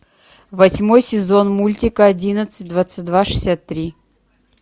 восьмой сезон мультика одиннадцать двадцать два шестьдесят три